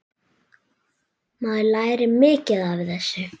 Maður lærir mikið af þessu.